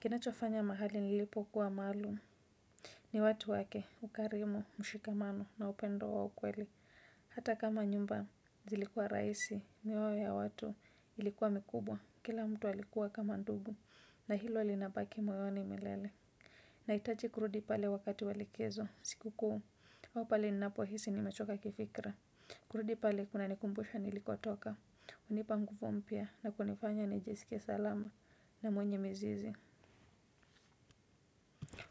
kinachofanya mahali nilipokuwa maalum ni watu wake, ukarimu, mshikamano na upendo wa ukweli hata kama nyumba zilikuwa rahisi, mioyo ya watu ilikuwa mikubwa. Kila mtu alikuwa kama ndugu na hilo linabaki moyoni milele nahitaji kurudi pale wakati wa likizo. Siku kuu, au pale ninapohisi nimechoka kifikra kurudi pale kunanikumbusha nilikotoka hunipa nguvu mpya na kunifanya nijisikie salama na mwenye mizizi.